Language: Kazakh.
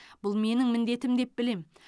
бұл менің міндетім деп білем